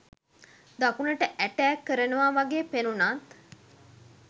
දකුණට ඇටෑක් කරනවා වගේ පෙනුනත්